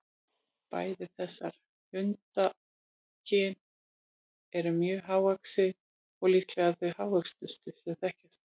Bæði þessar hundakyn eru mjög hávaxin og líklega þau hávöxnustu sem þekkjast.